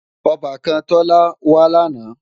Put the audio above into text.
Ọbàkan Tọ́lá wá làná